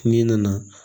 Min nana